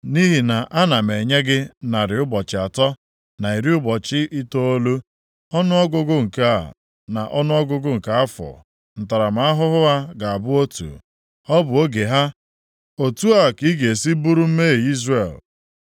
Nʼihi na ana m enye gị narị ụbọchị atọ na iri ụbọchị itoolu, ọnụọgụgụ nke a na ọnụọgụgụ nke afọ ntaramahụhụ ha ga-abụ otu, ọ bụ oge ha. Otu a ka ị ga-esi buru mmehie Izrel.